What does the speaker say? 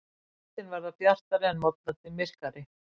Kvöldin verði bjartari en morgnarnir myrkari